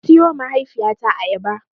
Na siyowa mahaifiyata ayaba.